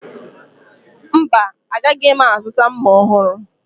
Mba, agaghị m azụta mma ọhụrụ